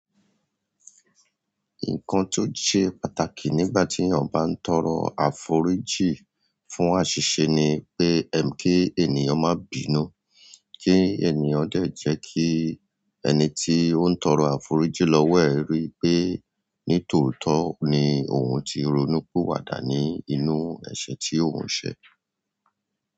Nǹkan tó ṣe pàtàkì nígbà tí èeyàn bá ń tọrọ àforíjì fún àṣìṣe ni pé ẹ̀ ń kí ènìyàn má bìnu, kí ènìyàn dẹ̀ jẹ́ kí ẹ̀ní tí ó ń tọrọ àforíjì lọ́wọ́ ẹ rí pé nítòótọ́ ni òun ti ronú piwàdà ní inú ẹ̀ṣẹ̀ tí òun ṣẹ̀.